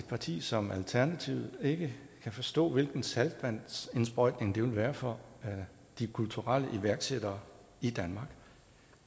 parti som alternativet ikke kan forstå hvilken saltvandsindsprøjtning det vil være for de kulturelle iværksættere i danmark